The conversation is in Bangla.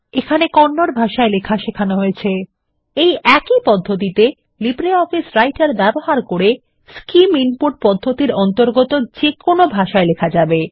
আপনাকে কন্নড ভাষায় লেখা সেখান হয়েছে এই একই পদ্ধতিতে লিব্রিঅফিস রাইটার ব্যবহার করে স্কিম ইনপুট পদ্ধতির অন্তর্গত যেকোনো ভাষায় লেখা যাবে